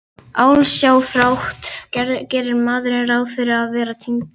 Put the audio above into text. Ósjálfrátt gerir maður ráð fyrir að þeir týndu örvænti.